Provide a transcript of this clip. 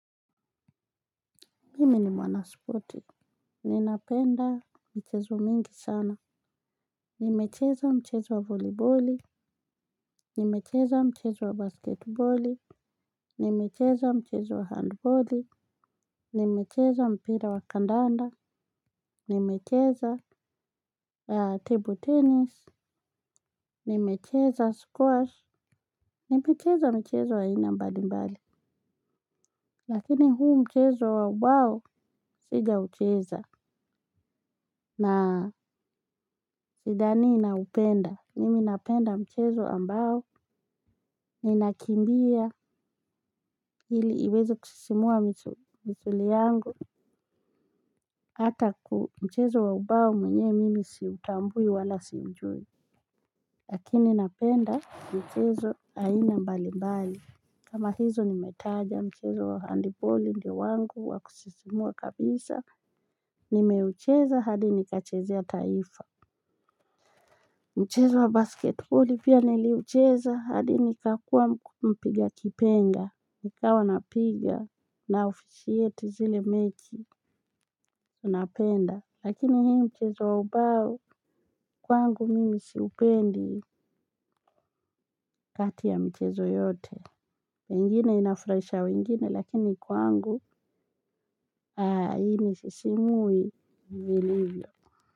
Mimi ni mwana spoti, ninapenda michezo mingi sana. Nimecheza mchezo wa voliboli, nimecheza mchezo wa basketboli, nimecheza mchezo wa handboli, nimecheza mpira wa kandanda, nimecheza table tennis, nimecheza squash, na kucheza mchezo wa ina mbali mbali. Lakini huu mchezo wa ubao sijaucheza na sidani naupenda, mimi napenda mchezo ambao ninakimbia ili iweze kusisimua misuli yangu, hata mchezo wa ubao mwenyewe mimi siutambui wala siujui, lakini napenda mchezo aina mbalimbali. Kama hizo nimetaja mchezo handiboli ndio wangu wa kusisimua kabisa, nimeucheza hadi nikachezea taifa. Mchezo wa basket boli pia niliucheza hadi nikakua mpiga kipenga, nikawa napiga na ofisieti zile mechi napenda. Lakini hii mchezo wa ubao kwangu mimi siupendi kati ya mchezo yote. Pengine inafraisha wengine lakini kwangu hainisisimui vilivyo.